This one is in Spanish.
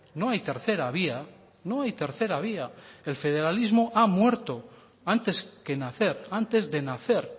no hay tercera vía no hay tercera vía el federalismo ha muerto antes que nacer antes de nacer